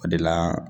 O de la